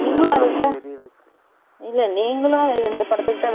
நீங்கலும் இந்த படதுக்கு தான் wait பன்னிட்டு இருந்தீங்கலோ